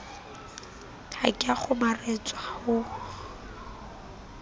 ha ke a kgomaretswa ho